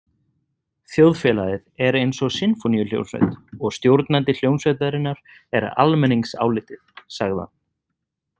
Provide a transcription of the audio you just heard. Þjóðfélagið er eins og sinfóníuhljómsveit og stjórnandi hljómsveitarinnar er almenningsálitið, sagði hann.